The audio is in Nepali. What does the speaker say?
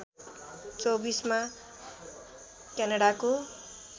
२४ मा क्यानडाको